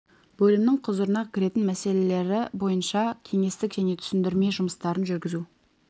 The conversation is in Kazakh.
бөлімнің құзырына кіретін мәселелері бойынша кеңестік және түсіндірме жұмыстарын жүргізу